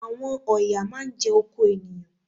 Àwọn ọ̀yà máá ń jẹ oko ènìyàn